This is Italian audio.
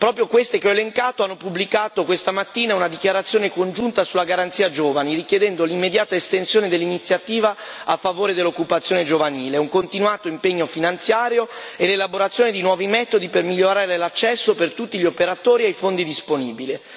Proprio queste che ho elencato hanno pubblicato questa mattina una dichiarazione congiunta sulla Garanzia giovani, richiedendo l'immediata proroga dell'Iniziativa a favore dell'occupazione giovanile, un continuato impegno finanziario e l'elaborazione di nuovi metodi per migliorare l'accesso per tutti gli operatori ai fondi disponibili.